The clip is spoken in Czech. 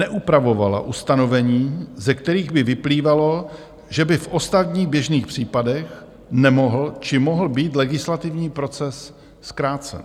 Neupravovala ustanovení, ze kterých by vyplývalo, že by v ostatních, běžných případech nemohl či mohl být legislativní proces zkrácen.